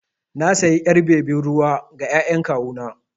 Na sayi ƴar bebin ruwa ga ƴaƴan kawu na.